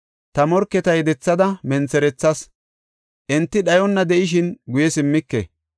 Ta morketa yedethada mentherethas; enti dhayonna de7ishin guye simmike.